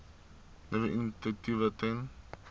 nuwe initiatiewe ten